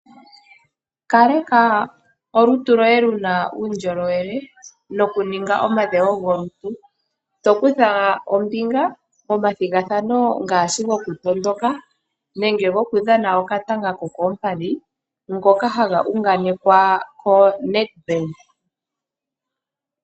Kaleka olutu lwoye luna uundjolowele nokuninga omadhewo golutu tokutha ombinga momathigathano ngaashi go kutondoka nenge go kudhana okatanga ko koompadhi ngoka haga unganekwa ko ombaanga yoNedbank.